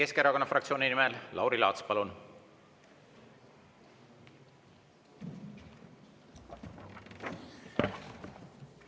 Eesti Keskerakonna fraktsiooni nimel Lauri Laats, palun!